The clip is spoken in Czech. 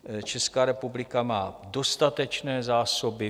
Česká republika má dostatečné zásoby.